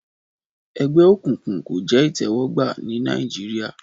Ẹgbẹ́ òkùnkùn kò jẹ́ ìtẹ́wọ́gbà ní Nàìjíríyà